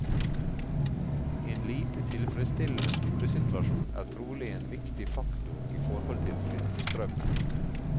En lite tilfredsstillende skolesituasjon er trolig en viktig faktor i forhold til flyttestrømmen.